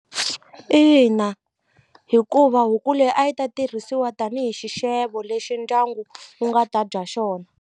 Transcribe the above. Ina hikuva huku leyi a yi ta tirhisiwa tanihi xixevo lexi ndyangu wu nga ta dya xona.